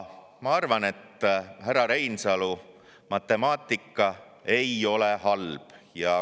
Ma arvan, härra Reinsalu, et matemaatika ei ole halb.